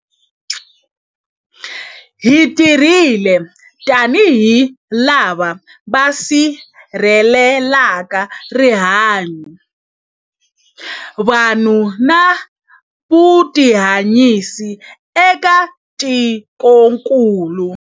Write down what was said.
Hi tirhile tanihi lava va si rhelelaka rihanyu, vanhu na vutihanyisi eka tikokulu.